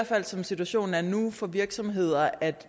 fald som situationen er nu for virksomheder at